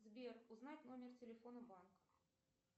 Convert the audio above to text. сбер узнать номер телефона банка